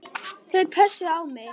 Þau pössuðu á mig.